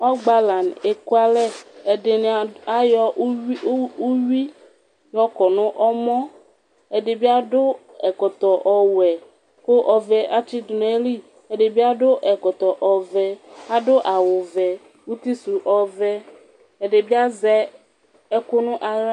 ɔgbala eku alɛ ɛdini ayɔ uwi y'ɔkɔ no ɔmɔ ɛdi bi ado ɛkɔtɔ ɔwɛ ko ɔvɛ atsi do n'ayili ɛdi bi ado ɛkɔtɔ ɔvɛ ado awu vɛ uti so ɔvɛ ɛdi bi azɛ ɛku no ala